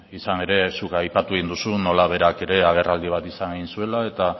izan ere zuk aipatu egin duzu nola berak ere agerraldi bat izan egin zuela eta